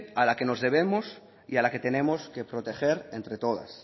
a la que nos debemos y a la que tenemos que proteger entre todas